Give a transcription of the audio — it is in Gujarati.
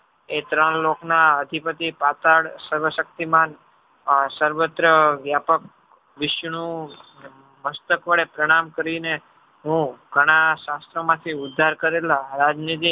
એ ત્રણ લોકના અધિપતિ પાતાળ સર્વશક્તિમાન સર્વત્ર વ્યાપક વિષ્ણુ મસ્તક વડે પ્રણામ કરીને હું ઘણા શાસ્ત્રો માંથી ઉદ્ધાર કરેલા રાજનીતિ